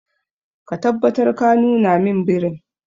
Ka tabbatar ka nuna min birin.